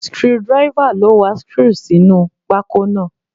Screwdriver ló wa screw sínú pákó náà.